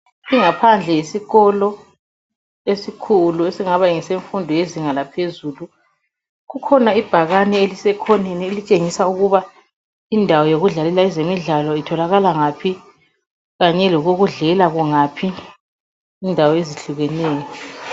Ingaphandle yesikolo esikhulu esingaba ngefundo yesezinga laphezulu kukhona ibhakane elisekhoneni elitshengisa ukuba indawo yokudlalela ezemidlalo itholakala ngaphi kanye lokokudlela kungaphi indawo ezehlukeneyo.